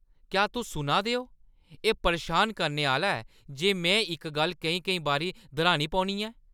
क्या तुस सुना दे ओ? एह्‌ परेशान करने आह्‌ला ऐ जे में इक गल्ल केईं-केईं बारी दर्‌हानी पौनी ऐ।